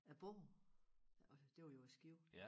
Æ båd og det var jo i Skive